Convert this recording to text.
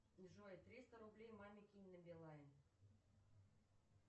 джой триста рублей маме кинь на билайн